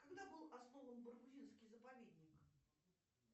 когда был основан баргузинский заповедник